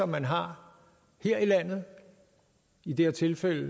man har her i landet i det her tilfælde